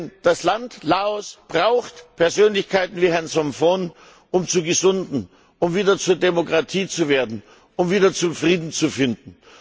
Denn das Land Laos braucht Persönlichkeiten wie Herrn Somphone, um zu gesunden, um wieder zur Demokratie zu werden, um wieder zum Frieden zu finden.